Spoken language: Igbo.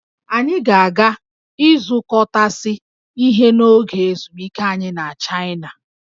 Anyị ga-aga ịzụkọtasị ihe n'oge ezumike anyị na Chaịna